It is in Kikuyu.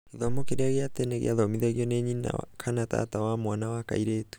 gĩthomo kĩria gia tene gĩathomithagio nĩ nyina kana tata wa mwana wa kairĩtu.